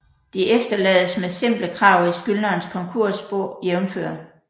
De efterlades med simple krav i skyldnerens konkursbo jf